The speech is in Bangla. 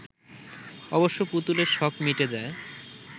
অবশ্য পুতুলের শখ মিটে যায়